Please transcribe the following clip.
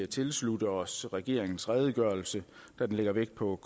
tilslutte os regeringens redegørelse da den lægger vægt på